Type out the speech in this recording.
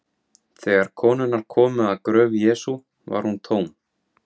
Þegar konurnar komu að gröf Jesú var hún tóm.